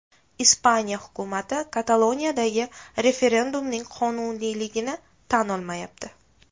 Ispaniya hukumati Kataloniyadagi referendumning qonuniyligini tan olmayapti.